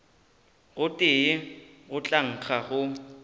gotee go tla nkga go